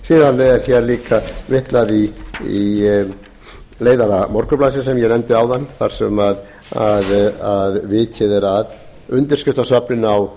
síðan er hér líka vitnað í leiðara morgunblaðsins sem ég nefndi áðan þar sem vikið er að undirskriftasöfnun á